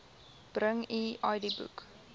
bring u idboek